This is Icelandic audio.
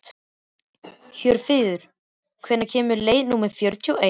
Hjörfríður, hvenær kemur leið númer fjörutíu og eitt?